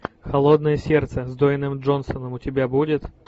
холодное сердце с дуэйном джонсоном у тебя будет